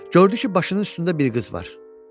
Gördü ki, başının üstündə bir qız var.